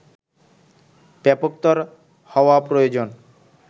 ব্যাপকতর হওয়া প্রয়োজন